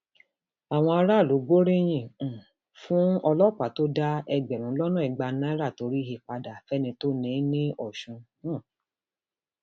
àwọn aráàlú gbóríyìn um fún ọlọpàá tó dá ẹgbẹrún lọnà ìgbà náírà tó rí he padà fẹni tó ní in lọsùn um